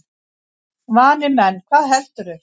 Vanir menn, hvað heldurðu!